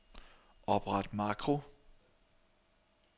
Opret makro.